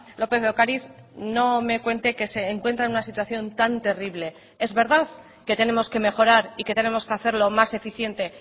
lópez de ocariz no me cuente que se encuentra en una situación tan terrible es verdad que tenemos que mejorar y que tenemos que hacerlo más eficiente